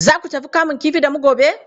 Za ku tafi kamun kifi da mu gobe?